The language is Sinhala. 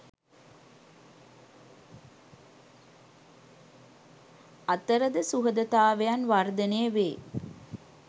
අතරද සුහදතාවයන් වර්ධනය වේ.